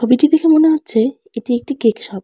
তবিটি দেখে মনে হচ্ছে এটি একটি কেক শপ ।